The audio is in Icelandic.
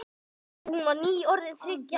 Hún var nýorðin þriggja ára.